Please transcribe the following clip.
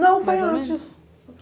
Não, foi antes. Mais o menos